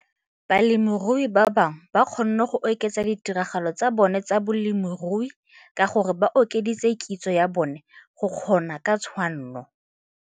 Balemirui ba bangwe ba kgonne go oketsa ditiragalo tsa bona tsa bolemirui ka gore ba okeditse kitso ya bona go kgona ka tshwanno.